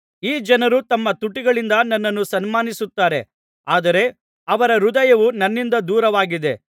ಈ ಜನರು ತಮ್ಮ ತುಟಿಗಳಿಂದ ನನ್ನನ್ನು ಸನ್ಮಾನಿಸುತ್ತಾರೆ ಆದರೆ ಅವರ ಹೃದಯವು ನನ್ನಿಂದ ದೂರವಾಗಿದೆ